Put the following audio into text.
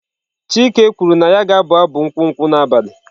Chike kwuru na ya ga-abụ abụ nkwụ nkwụ n'abalị.